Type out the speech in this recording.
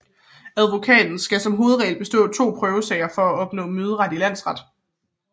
Advokaten skal som hovedregel bestå to prøvesager for at opnå møderet for landsret